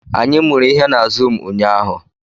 Anyị mụrụ ihe na zụụmu ụnyaahụ